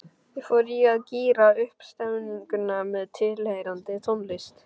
Ég fór í að gíra upp stemninguna með tilheyrandi tónlist.